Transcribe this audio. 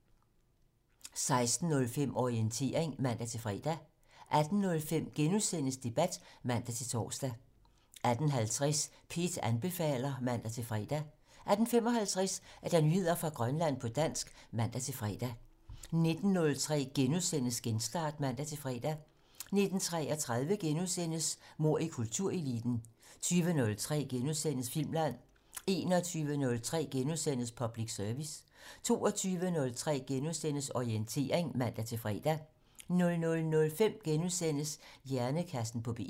16:05: Orientering (man-fre) 18:05: P1 Debat *(man-tor) 18:50: P1 anbefaler (man-fre) 18:55: Nyheder fra Grønland på dansk (man-fre) 19:03: Genstart *(man-fre) 19:33: Mord i kultureliten * 20:03: Filmland * 21:03: Public Service * 22:03: Orientering *(man-fre) 00:05: Hjernekassen på P1 *